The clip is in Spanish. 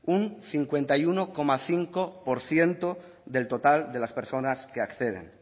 un cincuenta y uno coma cinco por ciento del total de las personas que acceden